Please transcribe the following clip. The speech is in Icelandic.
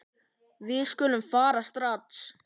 Við skulum fara strax.